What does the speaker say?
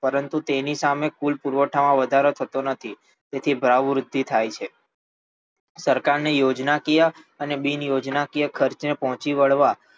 પરંતુ તેની સામે કુલ પુરવઠામાં વધારો થતો નથી તેથી ભાવવૃદ્ધિ થાય છે સરકારને યોજનાકીય અને બિનયોજનાકીય ખર્ચને પહોંચી વળવા